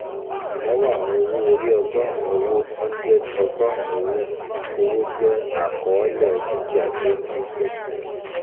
Ìnáwó àwọn owó-orí ọgọ́rùn-ún Owó hundred ọgọ́rùn-ún Owó Owó jẹ́ àkọọ́lẹ̀ dúkìá tí ó dínkù